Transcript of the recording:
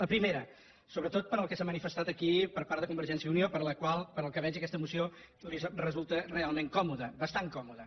la primera sobretot pel que s’ha manifestat aquí per part de convergència i unió per a la qual pel que veig aquesta moció li resulta realment còmoda bastant còmoda